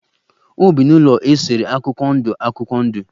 Ọ bi n'ụlọ a esere akwụkwọ ndụ akwụkwọ ndụ.